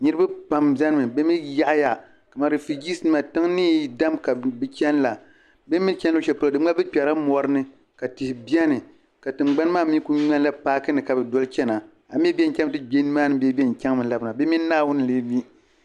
Niriba pam biɛni mi bɛ mee taɣaya ka man rifirijiis nima tiŋ niyi dam ka bɛ chena la bɛ mee ni cheni luɣushɛli polo di ŋmanila bɛ kperila morini ka tihi biɛni ka tingbani maa mee kuli ŋmani la paakini ka bɛ doli chena amii bɛ yen chaŋ mi ti gbe nimaani bee bɛ yen chaŋmi ka labina bɛ mini naawuni n lee mi.